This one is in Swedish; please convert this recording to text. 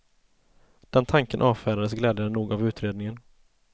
Den tanken avfärdas glädjande nog av utredningen.